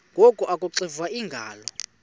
ngoku akuxiva iingalo